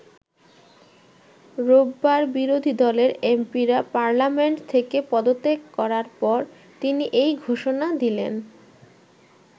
রোববার বিরোধী দলের এমপিরা পার্লামেন্ট থেকে পদত্যাগ করার পর তিনি এই ঘোষণা দিলেন।